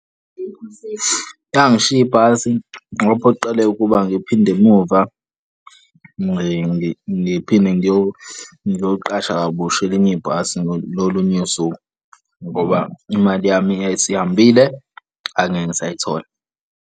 Yangishiya ibhasi ngaphoqeleka ukuba ngiphinde emuva, ngiphinde ngiyoqasha kabusha elinye ibhasi ngolunye usuku ngoba imali yami yayisihambile, ngangeke ngisayithola.